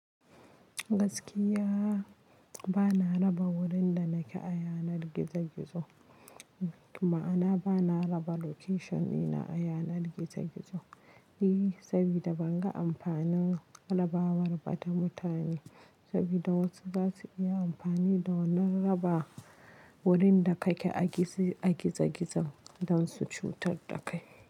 Gaskiya bana raba wurin da nake a yanar gizo gizo. Ma'ana bana raba location dina a yanar gizo gizo. E, saboda ban ga amfanin raba war bata mutane, saboda wasu za su iya amfani da wannan raba wurin da kake a gizo gizo don su cutar da kai.